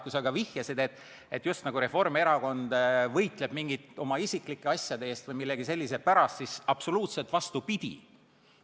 Kui sa vihjasid, et Reformierakond just nagu võitleb mingite oma isiklike asjade eest või millegi sellise pärast, siis absoluutselt vastupidi.